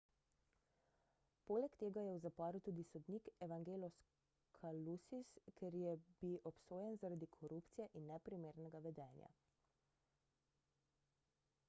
poleg tega je v zaporu tudi sodnik evangelos kalousis ker je bi obsojen zaradi korupcije in neprimernega vedenja